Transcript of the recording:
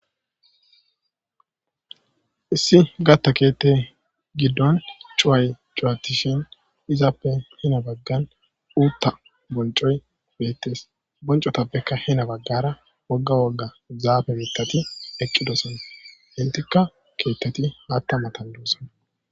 issi gatta keette giddon cuway cuwatishin izappe hina baggan uutta boncoy beettes bonco tappekka hina baggara wogga wogga zaafe beettati eqqidosan intikka keettati haatta matan duussan